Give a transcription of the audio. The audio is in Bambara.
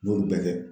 N y'olu bɛɛ kɛ